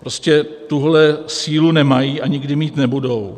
Prostě tuhle sílu nemají a nikdy mít nebudou.